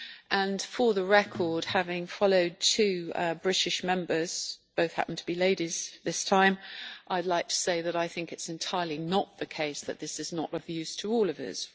And, for the record, having followed two British Members, both happened to be ladies this time, I would like to say that I think it is entirely not the case that this is not of use to all of us.